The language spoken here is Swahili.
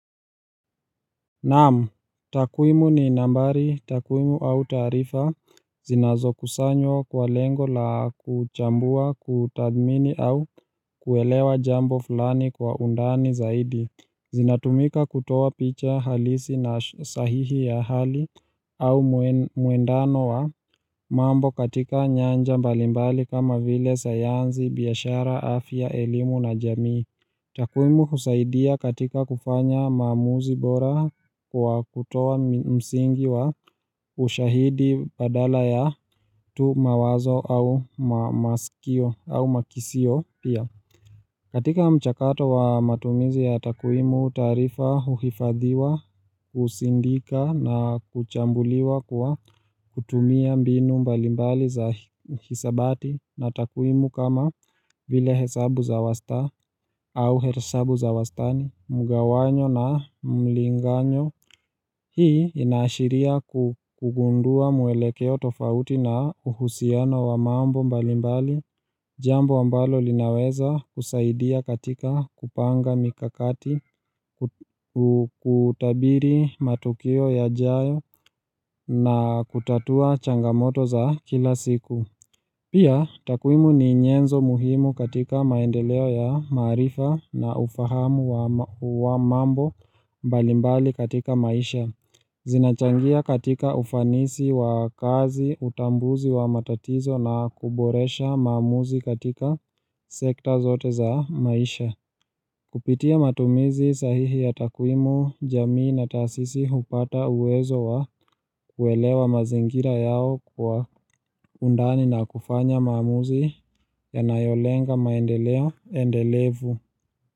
Naam, takwimu ni nambari takwimu au taarifa zinazo kusanywa kwa lengo la kuchambua kutadmini au kuelewa jambo fulani kwa undani zaidi zinatumika kutoa picha halisi na sahihi ya hali au muendano wa mambo katika nyanja mbalimbali kama vile sayanzi biashara afya elimu na jamii takwimu husaidia katika kufanya maamuzi bora kwa kutoa msingi wa ushahidi badala ya tu mawazo au makisio pia. Katika mchakato wa matumizi ya takwimu taarifa uhifadhiwa, usindika na kuchambuliwa kwa kutumia mbinu mbalimbali za hisabati na takuimu kama vile hesabu za wasta au hesabu za wastani, mugawanyo na mlinganyo. Hii inaashiria kugundua mwelekeo tofauti na uhusiano wa mambo mbalimbali Jambo ambalo linaweza kusaidia katika kupanga mikakati, kutabiri matukio yajayo na kutatua changamoto za kila siku Pia takwimu ni nyenzo muhimu katika maendeleo ya marifa na ufahamu wa mambo mbalimbali katika maisha Zinachangia katika ufanisi wa kazi utambuzi wa matatizo na kuboresha maamuzi katika sekta zote za maisha. Kupitia matumizi sahihi ya takwimu jamii na tasisi hupata uwezo wa kuelewa mazingira yao kwa undani na kufanya maamuzi yanayolenga maendeleo endelevu.